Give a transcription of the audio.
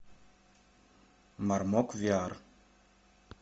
мармок виар